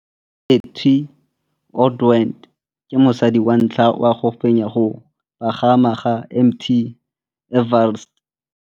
Cathy Odowd ke mosadi wa ntlha wa go fenya go pagama ga Mt Everest.